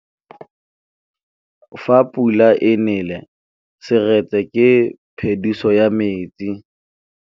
Fa pula e nelê serêtsê ke phêdisô ya metsi.